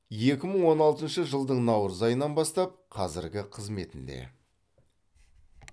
екі мың он алтыншы жылдың наурыз айынан бастап қазіргі қызметінде